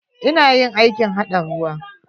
Ina yin aikin haɗa ruwa.